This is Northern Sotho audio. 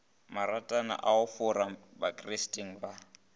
maratwana a bofora bakristeng ba